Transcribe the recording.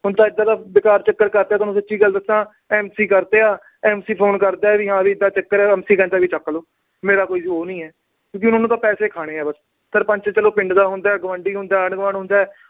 ਹੁਣ ਇਦਾਂ ਦਾ ਬੇਕਾਰ ਚੱਕਰ ਕਰ ਦਿਆ। ਤੁਹਾਨੂੰ ਸੱਚੀ ਗੱਲ ਦੱਸਾ। MC ਕਰਤਿਆ। MC phone ਕਰਦਾ ਵੀ ਹਾਂ ਵੀ ਏਦਾ ਚੱਕਰ ਆ। MC ਕਹਿੰਦਾ ਚੱਕ ਲੋ। ਮੇਰਾ ਕੋਈ ਉਹ ਨੀ ਆ ਕਿਉਂਕਿ ਉਹਨਾਂ ਨੇ ਤਾਂ ਪੈਸੇ ਖਾਣੇ ਆ ਬਸ। ਸਰਪੰਚ ਚਲੋ ਪਿੰਡ ਦਾ ਹੁੰਦਾ, ਗੁਆਂਢੀ ਹੁੰਦਾ, ਆਂਢ-ਗੁਆਂਢ ਹੁੰਦਾ।